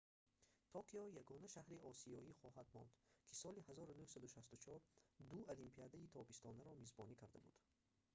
токио ягона шаҳри осиёӣ хоҳад монд ки соли 1964 ду олимпиадаи тобистонаро мизбонӣ карда буд